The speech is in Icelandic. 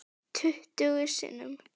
Tuttugu sinnum.